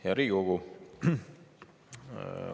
Hea Riigikogu!